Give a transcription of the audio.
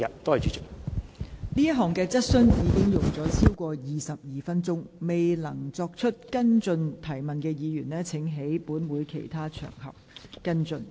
本會就這項質詢已用了超過22分鐘，未能提出補充質詢的議員請在其他場合跟進。